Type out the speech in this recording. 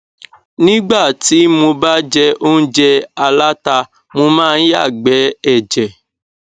nígbà tí mo ba jẹ óúnjẹ aláta mo máa ń yàgbẹ ẹjẹ